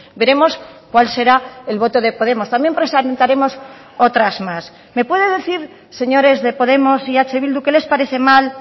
veremos cuál será el voto de podemos también presentaremos otras más me puede decir señores de podemos y eh bildu qué les parece mal